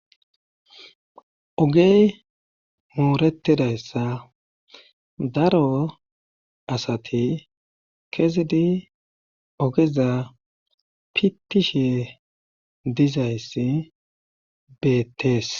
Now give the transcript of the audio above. Ogey mooretida issa daro asati kesidi ogeza pittishe diza issi beettees.